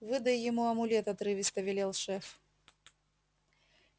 выдай ему амулет отрывисто велел шеф